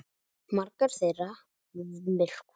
Margar þeirra myrkva.